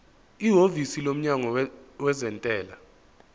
ihhovisi lomnyango wezentela